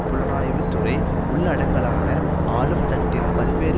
புலனாய்வு துறை உள்ளடங்கலான ஆளும்தட்டின் பல்வேறு